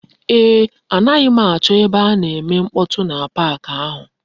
Eeh, m naghi acho ebe a na-eme mkpotu n'ime pak ahu.